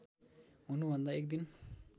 हुनुभन्दा एक दिन